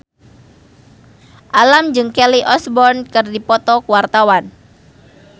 Alam jeung Kelly Osbourne keur dipoto ku wartawan